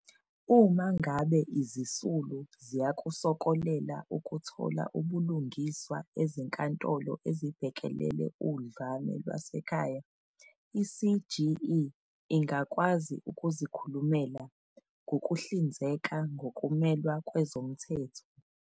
Uma ngabe izisulu ziyakusokolela ukuthola ubulungiswa Ezinkantolo ezibhekelele Udlame Lwasekhaya, i-CGE ingakwazi ukuzikhulumela, ngokuhlinzeka ngokumelwa kwezomthetho.